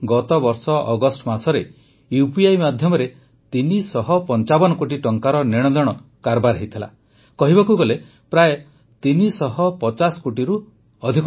ଗତବର୍ଷ ଅଗଷ୍ଟ ମାସରେ ୟୁପିଆଇ ମାଧ୍ୟମରେ ୩୫୫ କୋଟି ଟଙ୍କାର ନେଣଦେଣ କାରବାର ହୋଇଥିଲା କହିବାକୁ ଗଲେ ପ୍ରାୟଃ ୩୫୦ କୋଟିରୁ ଟଙ୍କାରୁ ଅଧିକ